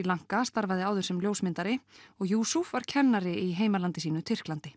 Lanka starfaði áður sem ljósmyndari og Yusuf var kennari í heimalandi sínu Tyrklandi